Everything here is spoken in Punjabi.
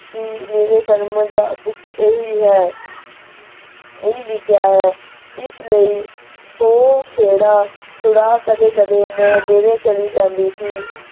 ਕੀ ਮੇਰੇ ਕਰਮਾਂ ਤਾਂ ਵਿਚ ਇਹੀ ਹੈ ਇਹੀ ਲਿਖਿਆ ਹੈ ਇਸ ਲੈ ਉਹ ਖੇੜਾ ਛੁੜਾ ਕਦੇ ਕਦੇ ਮੈਂ ਡੇਰੇ ਚਲੀ ਜਾਂਦੀ ਸੀ।